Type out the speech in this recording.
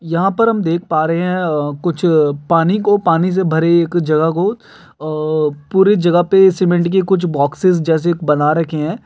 यहां पर हम देख पा रहे हैं अ कुछ पानी को पानी से भरे एक जगह को अ पूरी जगह पे सीमेंट के कुछ बॉक्सिस जैसे बना रखे हैं।